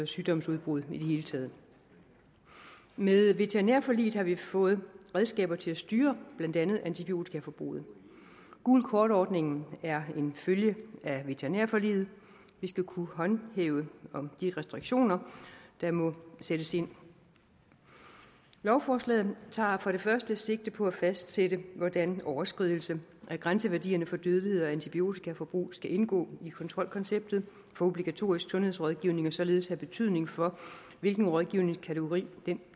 sygdomsudbrud i det hele taget med veterinærforliget har vi fået redskaber til at styre blandt andet antibiotikaforbruget gult kort ordningen er en følge af veterinærforliget vi skal kunne håndhæve de restriktioner der må sættes ind lovforslaget tager for det første sigte på at fastsætte hvordan overskridelse af grænseværdierne for dødelighed og antibiotikaforbrug skal indgå i kontrolkonceptet for obligatorisk sundhedsrådgivning og således have betydning for hvilken rådgivningskategori